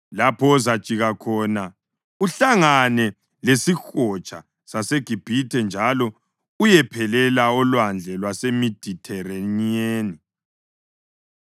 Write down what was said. lapho ozajika khona, kuhlangane lesiHotsha saseGibhithe njalo uyephelela oLwandle lwaseMedithereniyeni.